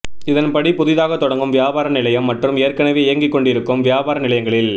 இதன்படி புதிதாக தொடங்கும் வியாபார நிலையம் மற்றும் ஏற்கனவே இயங்கிக்கொண்டிருக்கும் வியாபார நிலையங்களில்